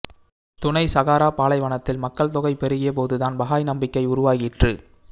துணை சாகாரா பாலைவனத்தில் மக்கள் தொகை பெருகிய போதுதான் பஹாய் நம்பிக்கை உருவாயிற்று